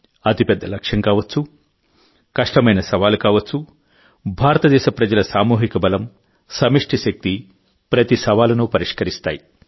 అతిపెద్ద లక్ష్యం కావచ్చు కష్టమైన సవాలు కావచ్చు భారతదేశ ప్రజల సామూహిక బలం సమష్టి శక్తి ప్రతి సవాలును పరిష్కరిస్తాయి